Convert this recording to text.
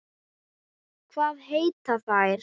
Hvað heita þær?